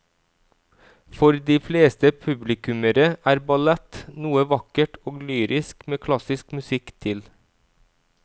For de fleste publikummere er ballett noe vakkert og lyrisk med klassisk musikk til.